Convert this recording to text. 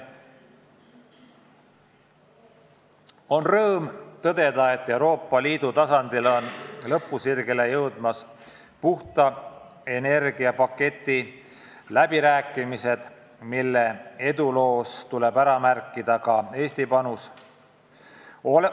On rõõm tõdeda, et Euroopa Liidu tasandil on lõpusirgele jõudmas puhta energia paketi läbirääkimised, mille eduloos tuleb ära märkida ka Eesti panus.